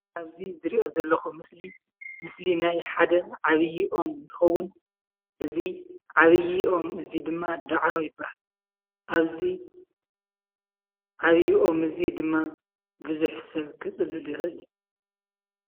ኣብዚ ዝርእዮ ዘለኩ ምስሊ ፡ ምስሊ ናይ ሓደ ዓብይ ኦም እንትከውን። እዙይ ዓብይ ኦም እዙይ ድማ ዳዕሮ ይብሃል። ኣብዚ ዓብይ ኦም እዙይ ድማ ብዙሕ ሰብ ከፅልል ይክእል እዩ።